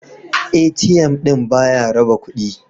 ATM ɗin ba ya raba kudi.